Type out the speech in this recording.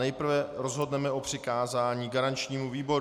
Nejprve rozhodneme o přikázání garančnímu výboru.